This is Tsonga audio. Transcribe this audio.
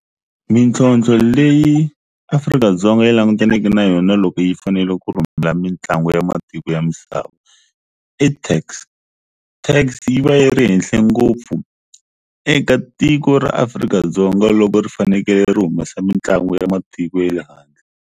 Mintlhontlho leyi Afrika-Dzonga yi languteneke na yona loko yi fanele ku rhumela mitlangu ya matiko ya misava i tax, tax yi va yi ri henhle ngopfu eka tiko ra Afrika-Dzonga loko ri fanekele ri humesa mitlangu ya matiko ye le handle.